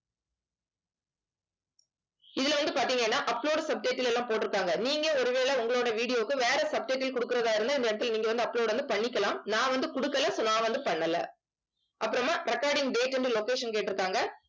இதுல வந்து பாத்தீங்கன்னா upload subtitle ல எல்லாம் போட்டு இருக்காங்க. நீங்க ஒருவேளை உங்களோட video க்கு வேற subtitle குடுக்கறதா இருந்தா இந்த இடத்துல நீங்க வந்து upload வந்து பண்ணிக்கலாம். நான் வந்து குடுக்கல so நான் வந்து பண்ணல அப்புறமா recording date and location கேட்டிருக்காங்க.